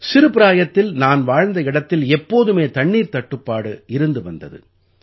சிறுபிராயத்தில் நான் வாழ்ந்த இடத்தில் எப்போதுமே தண்ணீர்த் தட்டுப்பாடு இருந்து வந்தது